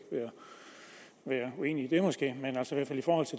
være uenig